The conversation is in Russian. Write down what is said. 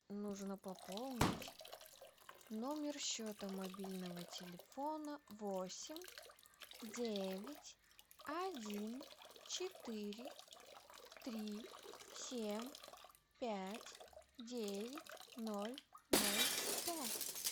нужно пополнить номер счета мобильного телефона восемь девять один четыре три семь пять девять ноль ноль пять